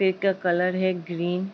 पेड़ का कलर है ग्रीन ।